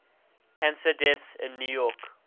cancer deaths in new york